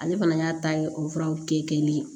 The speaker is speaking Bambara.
Ale fana y'a ta ye o furaw te kelen ye